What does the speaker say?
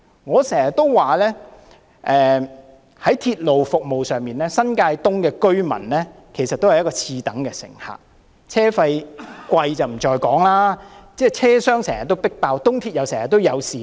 我經常說，在鐵路服務上，新界東的居民其實是次等乘客，車費昂貴不在話下，車廂又經常擠滿乘客，東鐵線更經常出現事故。